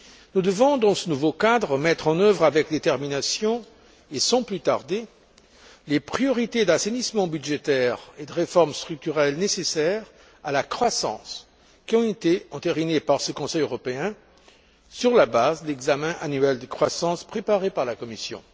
Nous devons, dans ce nouveau cadre, mettre en œuvre avec détermination et sans plus tarder les priorités d'assainissement budgétaire et de réformes structurelles nécessaires à la croissance qui ont été entérinées par ce Conseil européen, sur la base de l'examen annuel de croissance préparé par la Commission.